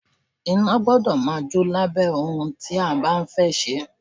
Iná gbọ́dọ̀ máa jò lábẹ́ ohun tí a bá fẹ́ sè.